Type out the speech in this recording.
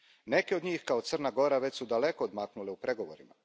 Neke od njih, kao Crna Gora, već su daleko odmaknule u pregovorima.